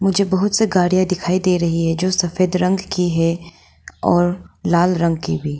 मुझे बहुत से गाड़ियां दिखाई दे रही है जो सफेद रंग की है और लाल रंग की भी।